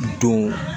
Don